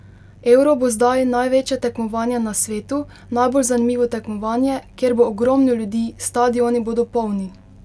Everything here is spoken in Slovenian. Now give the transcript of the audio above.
Euro bo zdaj največje tekmovanje na svetu, najbolj zanimivo tekmovanje, kjer bo ogromno ljudi, stadioni bodo polni ...